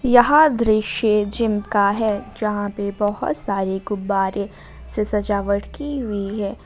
यह दृश्य जिम का है जहाँ पे बहुत सारे गुब्बारे से सजावट की हुई है।